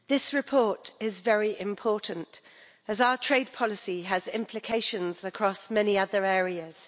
Madam President, this report is very important as our trade policy has implications across many other areas.